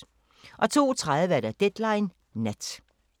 02:30: Deadline Nat